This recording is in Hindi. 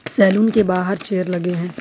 सैलून के बाहर चेयर लगे हैं।